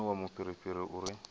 no sinvuwa mufhirifhiri u re